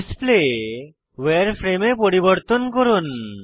display উয়ারফ্রেমে এ পরিবর্তন করুন